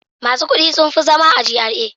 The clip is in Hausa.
Masu kuɗi sun fi zama a GRA.